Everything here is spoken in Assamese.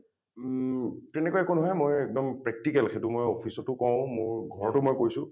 উম তেনেকুৱা একো নহয় মই একদম practical , সেইটো মই office টো কওঁ , মোৰ ঘৰটো মই কৈছোঁ ।